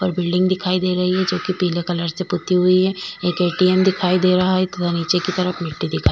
पर बिल्डिंग दिखाई दे रही है जो कि पीले कलर से पुती हुई है एक ए_टी_एम दिखाई दे रहा है तथा नीचे की तरफ मिट्टी दिखाई।